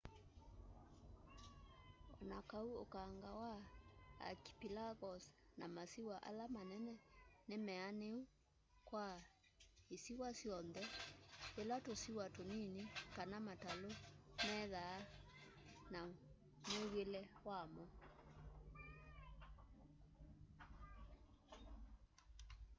onakaũ ũkanga wa archĩpelagos na masĩwa ala manene nĩ meanũ kwa ĩsĩwa yonthe yĩla tũsĩwa tũnĩnĩ kana matalũ methaa na mwĩw'ĩle wamo